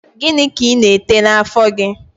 Gịnị ka ị na-ete n'àfọ́ gị?